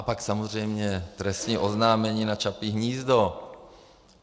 A pak samozřejmě trestní oznámení na Čapí hnízdo.